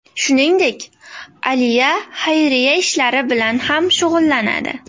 Shuningdek, Aliya xayriya ishlari bilan ham shug‘ullanadi.